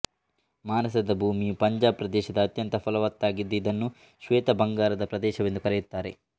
ಮಾನಸದ ಭೂಮಿಯು ಪಂಜಾಬ್ ಪ್ರದೇಶದ ಅತ್ಯಂತ ಫಲವತ್ತಾಗಿದ್ದು ಇದನ್ನು ಶ್ವೇತ ಬಂಗಾರದ ಪ್ರದೇಶವೆಂದು ಕರೆಯುತ್ತಾರೆ